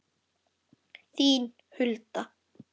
Þín, Hulda.